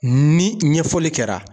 Ni ɲɛfɔli kɛra